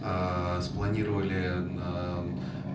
спланировали на